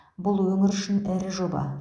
бұл өңір үшін ірі жоба